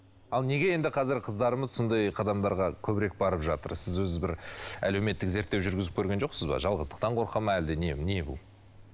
ал неге енді қазір қыздарымыз сондай қадамдарға көбірек барып жатыр сіз өзі бір әлеуметтік зерттеу жүргізіп көрген жоқсыз ба жалғыздықтан қорқады ма әлде не не бұл